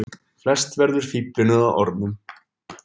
Flest verður fíflinu að orðum.